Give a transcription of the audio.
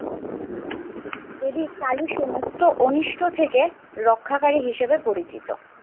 দেবী কালী সমস্ত অনিষ্ট থেকে রক্ষাকারী হিসেবে পরিচিত।